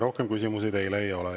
Rohkem küsimusi teile ei ole.